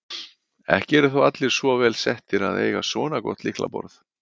Ekki eru þó allir svo vel settir að eiga svona gott lyklaborð.